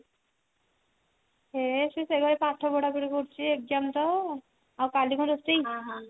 ହେ ସେ ସେ ଘରେ ପାଠ ପଢାପଢି କରୁଛି exam ତ ଆଉ କାଲି କଣ ରୋଷେଇ